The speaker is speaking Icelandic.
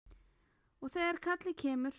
Og þegar kallið kemur.